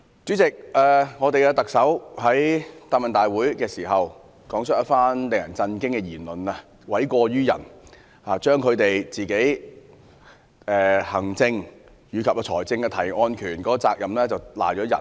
主席，特首在答問會上，發表一番令人震驚的言論，諉過於人，將他們行政及財政提案的責任推卸給別人。